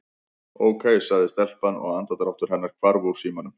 Ókei- sagði telpan og andardráttur hennar hvarf úr símanum.